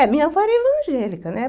É, minha avó era evangélica, né?